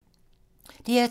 DR2